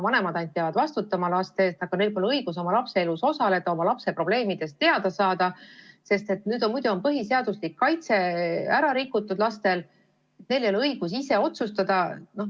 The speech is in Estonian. Vanemad peavad ainult vastutama oma laste eest, aga neil pole õigus oma lapse elus osaleda, oma lapse probleemidest teada saada, sest muidu on põhiseaduslik kaitse lastel rikutud ja neil ei ole õigus ise otsustada.